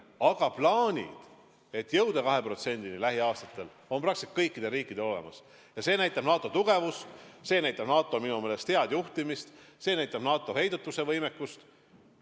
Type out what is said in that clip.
Aga plaanid jõuda lähiaastatel 2%-ni on praktiliselt kõikidel riikidel olemas ja see näitab NATO tugevust, näitab NATO minu meelest head juhtimist, näitab NATO heidutusvõimekust.